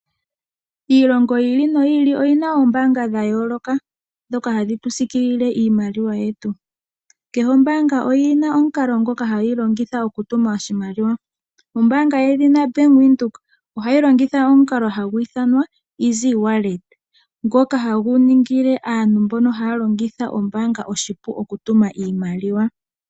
Iilongo yiili no yiili oyina oombanga dha yooloka dhoka hadhitu sikiilile iimaliwa yetu, kehe ombanga oyina omukalo ngoka hayi longitha oku tuma oshimaliwa. Ombanga yedhina Bank Windhoek ohayi longitha omukalo hagu iithanwa easy wallet, ngoka hagu ningile aantu mboka haya longitha ombanga, oshipu oku tuma oshimaliwa.